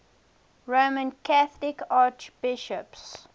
roman catholic archbishops